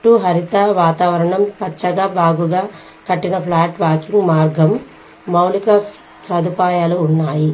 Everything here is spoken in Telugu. చుట్టూ హరిత వాతావరణం పచ్చగా బాగుగా కట్టిన ఫ్లాట్ వాకింగ్ మార్గం మౌలిక సదుపాయాలు ఉన్నాయి.